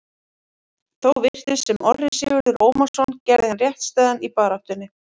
Þó virtist sem Orri Sigurður Ómarsson gerði hann réttstæðan í baráttunni.